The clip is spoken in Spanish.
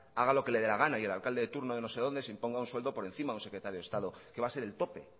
haga lo que le dé gana y el alcalde de turno de no sé dónde se imponga un sueldo por encima de un secretario de estado que va a ser el tope eso